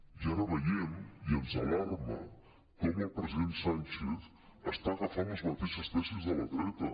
i ara veiem i ens alarma com el president sánchez està agafant les mateixes tesis de la dreta